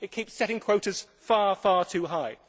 it keeps setting quotas far, far too high.